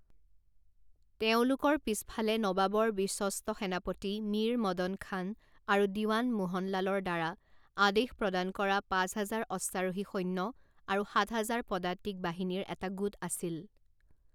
তেওঁলোকৰ পিছফালে নৱাবৰ বিশ্বস্ত সেনাপতি মীৰ মদন খান আৰু দিৱান মোহনলালৰ দ্বাৰা আদেশ প্ৰদান কৰা পাঁচ হাজাৰ অশ্বাৰোহী সৈন্য আৰু সাত হাজাৰ পদাতিক বাহিনীৰ এটা গোট আছিল।